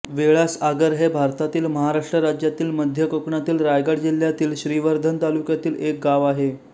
वेळास आगर हे भारतातील महाराष्ट्र राज्यातील मध्य कोकणातील रायगड जिल्ह्यातील श्रीवर्धन तालुक्यातील एक गाव आहे